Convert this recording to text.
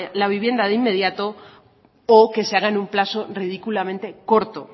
la vivienda de inmediato o que se haga en un plazo ridículamente corto